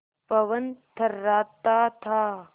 पवन थर्राता था